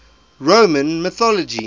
roman mythology